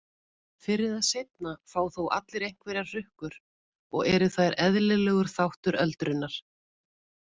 Fyrr eða seinna fá þó allir einhverjar hrukkur og eru þær eðlilegur þáttur öldrunar.